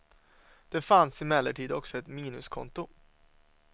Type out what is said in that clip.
Det fanns emellertid också ett minuskonto.